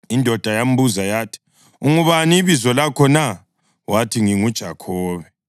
Indoda yambuza yathi, “Ungubani ibizo lakho na?” Wathi, “NginguJakhobe.”